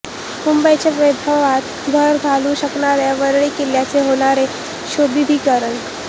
मुंबईच्या वैभवात भर घालू शकणाऱ्या वरळी किल्ल्याचे होणार सुशोभीकरण